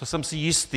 To jsem si jistý.